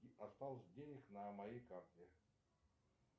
осталось денег на моей карте